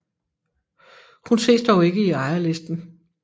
Hun ses dog ikke i ejerlisten